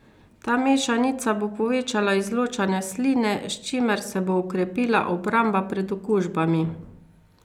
Ta mešanica bo povečala izločanje sline, s čimer se bo okrepila obramba pred okužbami.